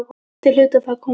Þau hlutu að fara að koma.